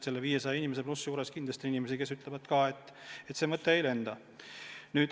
Nende 500+ inimese seas on kindlasti neid, kes ütlevad, et see mõte ei lenda.